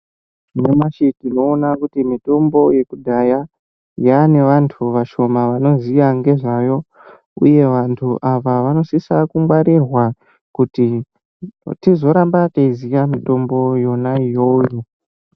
Nyamashi tinoona kuti mitombo yekudhaya yaane vantu vashoma vanoziya ngezvayo uye vantu ava vanosisa kungwarirwa kuti tizoramba tichiziva mitombo yona iyoyo.